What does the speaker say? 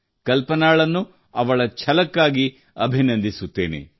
ಕಲ್ಪನಾಳಿಗೆ ಅವಳ ಛಲಕ್ಕಾಗಿ ಅಭಿನಂದಿಸುತ್ತೇನೆ